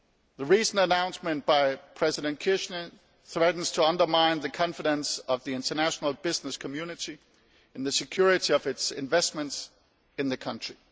The recent announcement by President Kirchner threatens to undermine the confidence of the international business community and the security of its investments in the country.